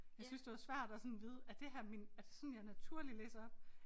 Jeg syntes det var svært at sådan vide er det her min er det sådan jeg naturligt læser op